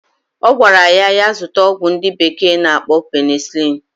Ogwara ya ya zuta ogwu ndi bekee na-akpo penicilin.